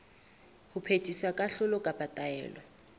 ho phethisa kahlolo kapa taelo